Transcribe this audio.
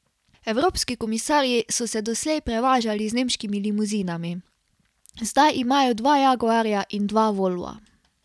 Evropski komisarji so se doslej prevažali z nemškimi limuzinami, zdaj imajo dva jaguarja in dva volva.